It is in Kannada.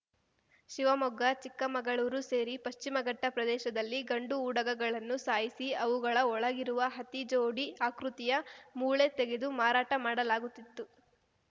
ಶಿವಮೊಗ್ಗ ಚಿಕ್ಕಮಗಳೂರು ಸೇರಿ ಪಶ್ಚಿಮಘಟ್ಟಪ್ರದೇಶದಲ್ಲಿ ಗಂಡು ಉಡಗಗಳನ್ನು ಸಾಯಿಸಿ ಅವುಗಳ ಒಳಗಿರುವ ಹತಿ ಜೋಡಿ ಆಕೃತಿಯ ಮೂಳೆ ತೆಗೆದು ಮಾರಾಟ ಮಾಡಲಾಗುತ್ತಿತ್ತು